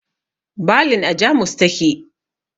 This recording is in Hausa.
Balin a Jamus ta ke